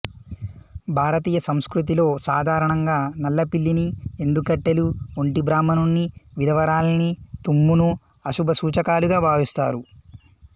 భారతీయ సంస్కృతిలో సాధారణంగా నల్లపిల్లిని ఎండు కట్టెలు ఒంటి బ్రాహ్మణుని విధవరాలిని తుమ్మును అశుభసూచకాలుగా భావిస్తారు